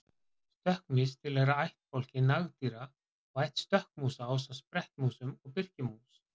stökkmýs tilheyra ættbálki nagdýra og ætt stökkmúsa ásamt sprettmúsum og birkimús